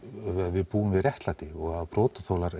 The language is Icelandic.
við búum við réttlæti og að brotaþolar